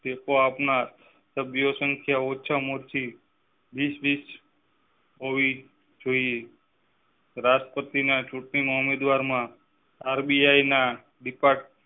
ટેકો આપનાર સભ્ય સંખ્યા ઓછા માં ઓછી હોવી જોઈએ રાષ્ટ્રપતિના ચૂંટણી ના ઉમેદવારો માં રબી ના department